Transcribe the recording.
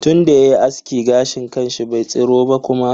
Tunda yayi aski, gashin kanshi bai tsiro ba kuma.